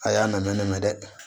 A y'a na ne mɛn dɛ